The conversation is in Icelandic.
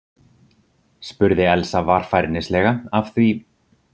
spurði Elsa varfærnislega af því